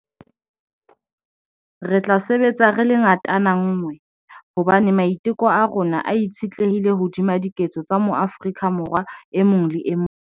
Re tla sebetsa re le ngatana nngwe, hobane maiteko a rona a itshetlehile hodima diketso tsa moAforika Borwa e mong le e mong.